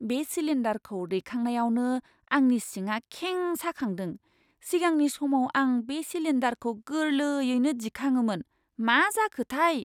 बे सिलिन्डारखौ दैखांनायावनो आंनि सिंआ खें साखांदों, सिगांनि समाव आं बे सिलिन्डारखौ गोरलैयैनो दिखाङोमोन। मा जाखोथाय!